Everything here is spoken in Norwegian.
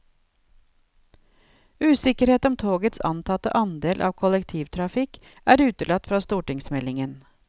Usikkerhet om togets antatte andel av kollektivtrafikk er utelatt fra stortingsmeldingen.